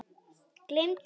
Gleymdu því!